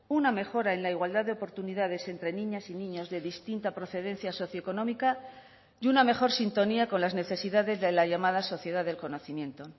una mejora en la igualdad de oportunidades entre niñas y niños de distinta procedencia socioeconómica y una mejor sintonía con las necesidades de la llamada sociedad del conocimiento